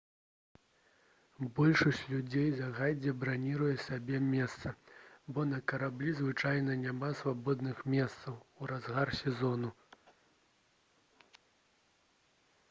большасць людзей загадзя браніруе сабе месца бо на караблі звычайна няма свабодных месцаў у разгар сезону